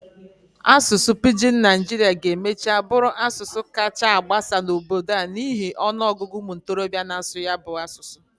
Asụsụ Pijin Naijiria ga-emachaa bụrụ asụsụ kachasị gbasaa n'obodo a n'ihi ọnụ ọgụgụ ụmụ ntorobịa n'asụ ya asụsụ.